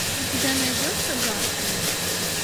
у тебя найдется гарпии